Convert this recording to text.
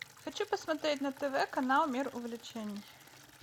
хочу посмотреть на тв канал мир увлечений